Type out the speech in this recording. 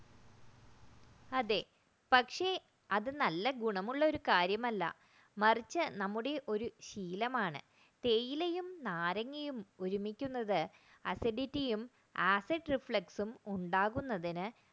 പക്ഷേ അത് നല്ല ഗുണമുള്ള ഒരു കാര്യമല്ല മറിച്ച് അത് നമ്മുടെ ഒരു ശീലമാണ് തേയിലയും നാരങ്ങയും ഒരുമിക്കുന്നത് acidity acid reflection ഉണ്ടാകുന്നതിന്